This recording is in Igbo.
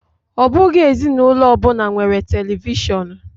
Ọ bụghị ezinụlọ ọbụna nwere televishonu.